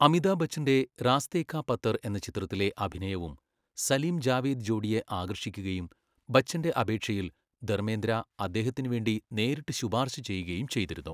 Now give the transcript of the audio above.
അമിതാഭ് ബച്ചൻ്റെ റാസ്തേ കാ പത്തർ എന്ന ചിത്രത്തിലെ അഭിനയവും സലീം, ജാവേദ് ജോഡിയെ ആകർഷിക്കുകയും ബച്ചൻ്റെ അപേക്ഷയിൽ ധർമേന്ദ്ര അദ്ദേഹത്തിന് വേണ്ടി നേരിട്ട് ശുപാർശ ചെയ്യുകയും ചെയ്തിരുന്നു.